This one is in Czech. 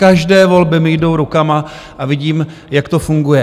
Každé volby mi jdou rukama a vidím, jak to funguje.